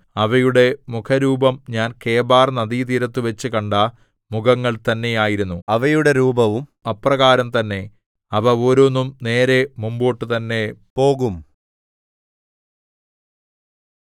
അവയുടെ മുഖരൂപം ഞാൻ കെബാർനദീതീരത്തുവച്ചു കണ്ട മുഖങ്ങൾ തന്നെ ആയിരുന്നു അവയുടെ രൂപവും അപ്രകാരം തന്നെ അവ ഓരോന്നും നേരെ മുമ്പോട്ടു തന്നെ പോകും